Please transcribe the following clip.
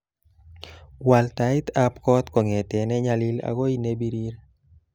Wal taitab kot kongete nenyalil akoy nebirir